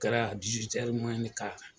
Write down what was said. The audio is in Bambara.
O kɛra yan